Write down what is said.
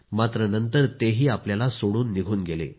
मात्र नंतर तेही आपल्याला सोडून निघून गेले